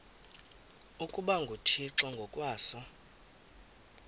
ukuba nguthixo ngokwaso